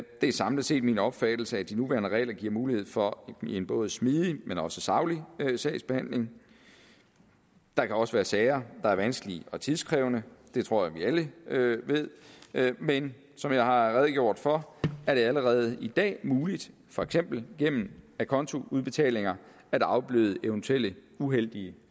er samlet set min opfattelse at de nuværende regler giver mulighed for en både smidig og saglig sagsbehandling der kan også være sager der er vanskelige og tidskrævende det tror jeg vi alle ved men som jeg har redegjort for er det allerede i dag muligt for eksempel gennem acontoudbetalinger at afbøde eventuelle uheldige